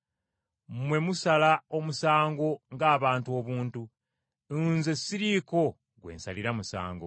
Mmwe musala omusango ng’abantu obuntu. Nze siriiko gwe nsalira musango.